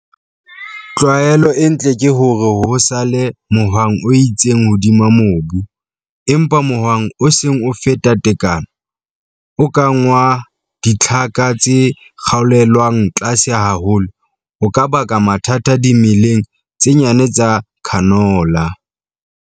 Tlwaelo e ntle ke hore ho sale mohwang o itseng hodima mobu, empa mohwang o seng o feta tekano, o kang wa ditlhaka tse sa kgaolelwang tlase haholo, o ka baka mathata dimeleng tse nyane tsa canola.